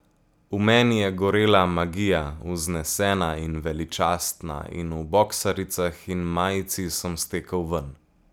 V meni je gorela magija, vznesena in veličastna, in v boksaricah in majici sem stekel ven.